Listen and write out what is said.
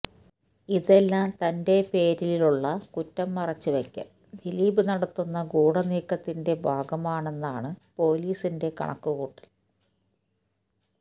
ഇതെല്ലാം തന്റെ പേരിലുള്ള കുറ്റം മറച്ചുവയ്ക്കാൻ ദിലീപ് നടത്തുന്ന ഗൂഢനീക്കത്തിന്റെ ഭാഗമാണെന്നാണ് പൊലീസിന്റെ കണക്കുകൂട്ടൽ